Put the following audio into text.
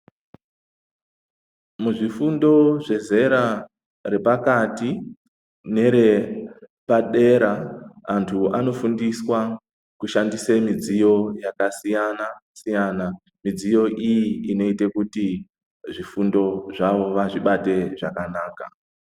Muzvifundo zvezera repakati nerepadera antu anofundiswa kushandisa midziyo yakasiyana siyana, midziyo iyi inoita kuti zvifundo zvavo vazvibate zvakanaka.